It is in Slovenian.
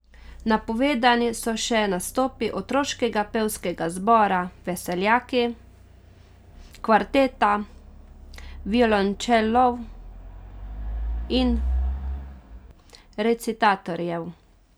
Napovedani so še nastopi otroškega pevskega zbora Veseljaki, kvarteta violončelov in recitatorjev.